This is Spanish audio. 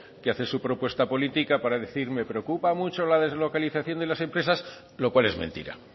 que hace su propuesta política para decir me preocupa mucho la deslocalización de las empresas lo cual es mentira